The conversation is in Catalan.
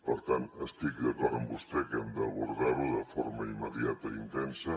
per tant estic d’acord amb vostè que hem d’abordarho de forma immediata intensa